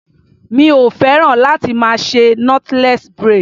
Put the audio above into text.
Mi o féràn láti máa ṣe knotless braid.